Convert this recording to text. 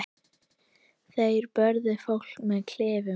Þeir börðu fólk með kylfum.